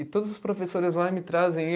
E todos os professores lá me trazem.